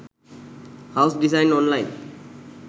house design online